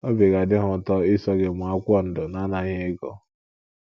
Obi ga - adị ha ụtọ iso gị mụọ akwụkwọ ndọ n’anaghị ego.